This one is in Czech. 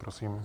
Prosím.